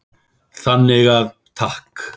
Þannig að takk.